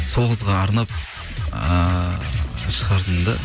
сол қызға арнап ыыы шығардым да